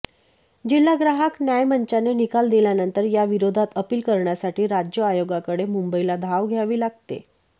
जिल्हा ग्राहक न्यायमंचाने निकाल दिल्यानंतर या विरोधात अपिल करण्यासाठी राज्य आयोगाकडे मुंबईला धाव घ्यावी लागते